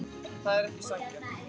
Það er ekki sanngjarnt.